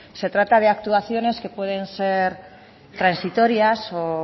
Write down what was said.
se trata de actuaciones que pueden ser transitorias o